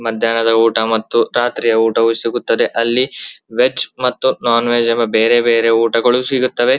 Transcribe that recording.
ಮದ್ಯಾಹ್ನದ ಊಟ ಮತ್ತು ರಾತ್ರಿಯ ಊಟವು ಸಿಗುತ್ತದೆ ಅಲ್ಲಿ ವೆಜ್ ಮತ್ತು ನಾನ್ ವೆಜ್ ಬೇರೆ ಬೇರೆ ಊಟಗಳು ಸಿಗುತ್ತವೆ.